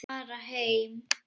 Fara heim.